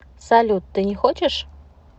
салют ты не хочешь